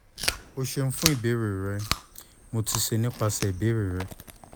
o ṣeun fun ibeere rẹ mo ti ṣe nipasẹ ibeere rẹ